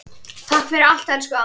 Takk fyrir allt elsku amma.